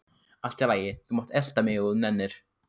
Allt í lagi, þú mátt elta mig ef þú nennir.